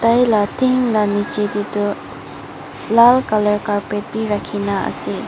Taila then la niche teh toh lal colour carpet bi rakhi na ase.